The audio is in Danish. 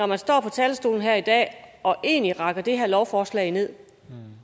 man står på talerstolen her i dag og egentlig rakker det her lovforslag ned